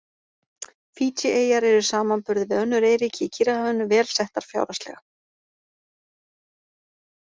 Fídjieyjar eru í samanburði við önnur eyríki í Kyrrahafinu vel settar fjárhagslega.